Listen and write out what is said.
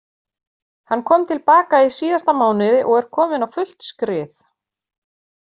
Hann kom til baka í síðasta mánuði og er kominn á fullt skrið.